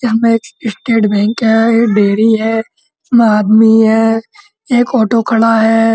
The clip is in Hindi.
यहां पे एक स्टेट बैंक है। डेरी है। आदमी है। एक ऑटो खड़ा है।